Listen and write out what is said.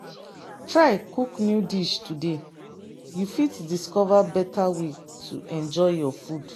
Try cook new dish today, you fit discover better way to enjoy your food.